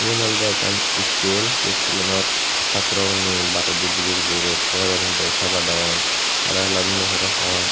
Eyan olode ekkkan school se schoolanot satro guney baredi buji buji rot puadon ekdagi sabat agon hara heladon de parapang.